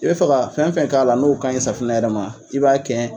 I bɛ fɛ ka fɛn o fɛn k'a la n'o ka ɲi safunɛ yɛrɛ ma, i b'o bɛɛ k'a la.